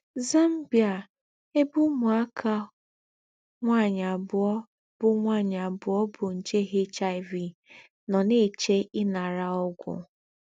ZAMBIA — Èbè úmùákà nwányị àbùọ̀ bú nwányị àbùọ̀ bú njè HIV nọ̀ nà-èché ìnàrà ógwù.